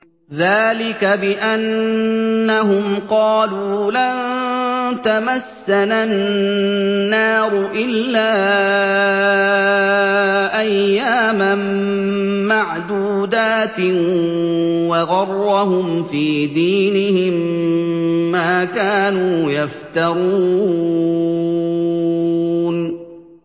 ذَٰلِكَ بِأَنَّهُمْ قَالُوا لَن تَمَسَّنَا النَّارُ إِلَّا أَيَّامًا مَّعْدُودَاتٍ ۖ وَغَرَّهُمْ فِي دِينِهِم مَّا كَانُوا يَفْتَرُونَ